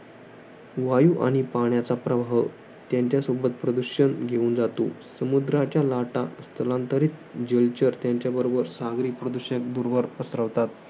वायू आणि पाण्याचा प्रभाव. त्यांच्यासोबत प्रदूषण घेऊन जातो. समुद्राच्या लाटा, स्थलांतरित जलचर त्यांच्याबरोबर सागरी प्रदूषण दूरवर पसरवतात.